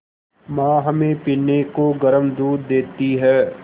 माँ हमें पीने को गर्म दूध देती हैं